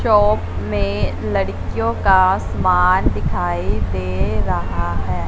Shop में लड़कियों का सामान दिखाई दे रहा है।